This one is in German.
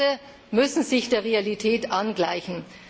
Die Preise müssen sich der Realität angleichen.